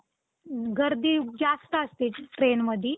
अं हो ma'am अं तुम्हाला आता,